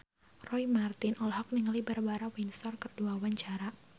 Roy Marten olohok ningali Barbara Windsor keur diwawancara